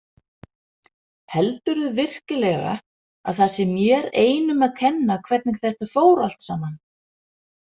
Heldurðu virkilega að það sé mér einum að kenna hvernig þetta fór alltsaman?